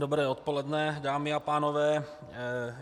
Dobré odpoledne, dámy a pánové.